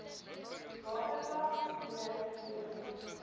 watervlak d w